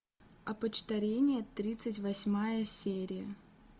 опочтарение тридцать восьмая серия